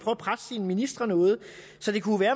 at presse sine ministre noget så det kunne